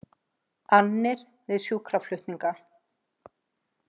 Annir við sjúkraflutninga